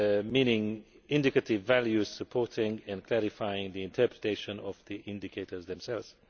meaning indicative values supporting and clarifying the interpretation of the indicators themselves.